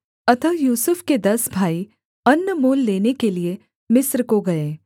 अतः यूसुफ के दस भाई अन्न मोल लेने के लिये मिस्र को गए